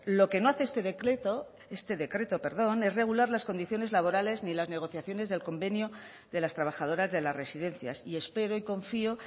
lo que no hace este decreto es regular las condiciones laborales ni las negociaciones del convenio de las trabajadoras de las residencias y espero y confío